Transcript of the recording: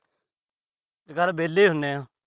ਇਹ ਸਾਰੇ ਵੇਹਲੇ ਹੁੰਦੇ ਆ।